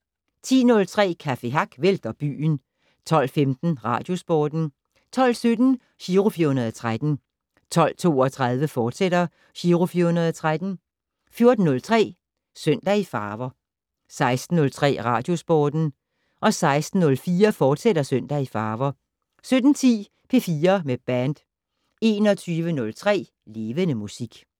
10:03: Café Hack vælter byen 12:15: Radiosporten 12:17: Giro 413 12:32: Giro 413, fortsat 14:03: Søndag i farver 16:03: Radiosporten 16:04: Søndag i farver, fortsat 17:10: P4 med band 21:03: Levende Musik